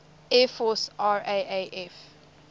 air force raaf